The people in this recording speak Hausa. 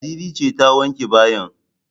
Ladidi ce ta wanke bayin